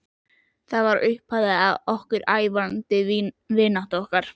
Það varð upphafið að ævarandi vináttu okkar.